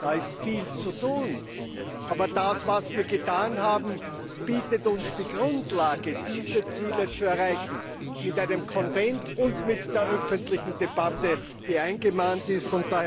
Da ist viel zu tun! Aber das, was wir getan haben, bietet uns die Grundlage dafür, diese Ziele zu erreichen mit einem Konvent und mit der öffentlichen Debatte, die zu Recht eingemahnt wurde.